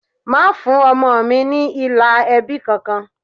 Má fún ọmọ mi ní ilà ẹbí kankan!